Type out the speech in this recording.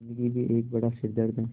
ज़िन्दगी भी एक बड़ा सिरदर्द है